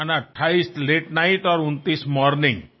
అప్పటికి మీ పుట్టినరోజు అయిపోతుంది